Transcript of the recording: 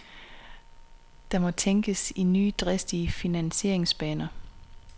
Der må tænkes i nye dristige finansieringsbaner.